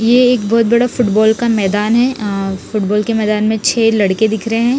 ये एक बहत बड़ा फुटबॉल का मैदान है फुटबॉल क मैदान में छे लड़के दिख रहे है।